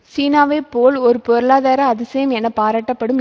சீனாவை போல் ஒரு பொருளாதார அதிசயம் என பாரட்டப்படும்